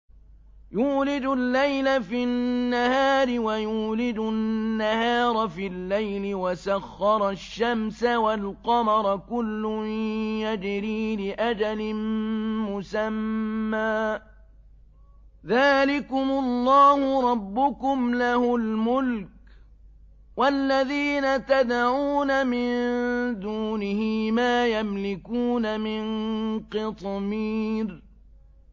يُولِجُ اللَّيْلَ فِي النَّهَارِ وَيُولِجُ النَّهَارَ فِي اللَّيْلِ وَسَخَّرَ الشَّمْسَ وَالْقَمَرَ كُلٌّ يَجْرِي لِأَجَلٍ مُّسَمًّى ۚ ذَٰلِكُمُ اللَّهُ رَبُّكُمْ لَهُ الْمُلْكُ ۚ وَالَّذِينَ تَدْعُونَ مِن دُونِهِ مَا يَمْلِكُونَ مِن قِطْمِيرٍ